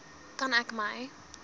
kan ek my